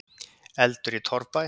Eldur í torfbæ